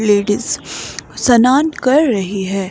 Ladies स्नान कर रही है।